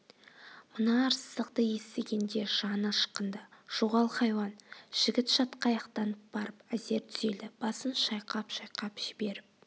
мына арсыздықты естігенде жаны ышқынды жоғал хайуан жігіт шатқаяқтанып барып әзер түзелді басын шайқап-шайқап жіберіп